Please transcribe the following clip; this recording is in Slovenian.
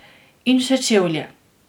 In še čevlje.